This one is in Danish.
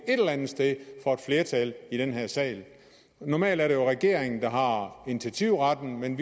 et sted for et flertal i den her sal normalt er det jo regeringen der har initiativretten men